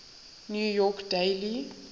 new york daily